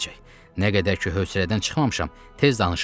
Nə qədər ki höcərədən çıxmamışam, tez danışın.